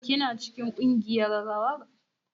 Kina cikin kungiyar rawar?